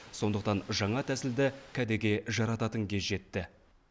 сондықтан жаңа тәсілді кәдеге жарататын кез жетті